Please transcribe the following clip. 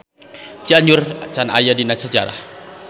Cianjur can aya dina sajarah.